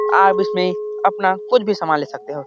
आप इसमे अपना कुछ भी सामान ले सकते हो।